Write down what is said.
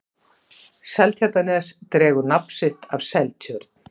seltjarnarnes dregur nafn sitt af seltjörn